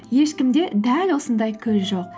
ешкімде дәл осындай көз жоқ